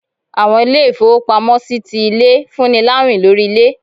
Àwọn ilé-ifowópámọsí tí ilé, fún ní láwín lorí ilé.